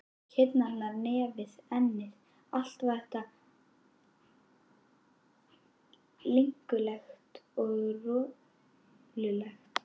Kinnarnar, nefið, ennið, allt var þetta linkulegt og rolulegt.